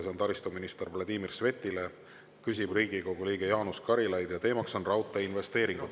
See on taristuminister Vladimir Svetile, küsib Riigikogu liige Jaanus Karilaid ja teema on raudteeinvesteeringud.